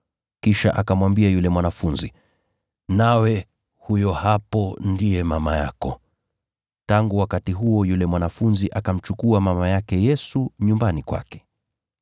kisha akamwambia yule mwanafunzi, “Nawe huyo hapo ndiye mama yako.” Tangu wakati huo yule mwanafunzi akamchukua mama yake Yesu nyumbani kwake.